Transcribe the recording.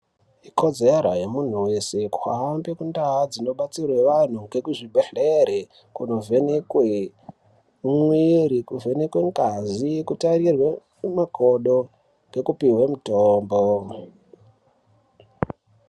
Ikodzero yemuntu weshe kuhambe mundaa dzinobatsirwe antu nemuzvibhedhleri kunovhenekwe mwiri nekuchenekwe ngazi kutarirwe makodo nekupihwe mitombo.